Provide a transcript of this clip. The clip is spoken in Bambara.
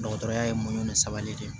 Dɔgɔtɔrɔya ye mun ni sabali de